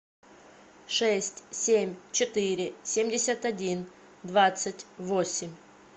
шесть семь четыре семьдесят один двадцать восемь